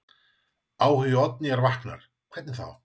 Áhugi Oddnýjar vaknar: Hvernig þá?